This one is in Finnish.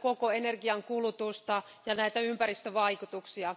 koko energiankulutusta ja ympäristövaikutuksia.